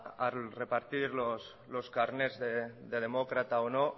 a repartir los carnés de demócrata o no